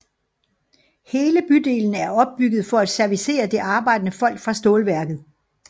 Hele bydelen er opbygget for at servicere det arbejdende folk fra stålværket